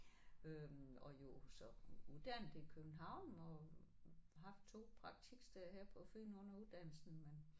Øh og jo så uddannet i København og haft 2 praktiksteder her på Fyn under uddannelsen men